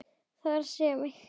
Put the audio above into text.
Það er að segja mig.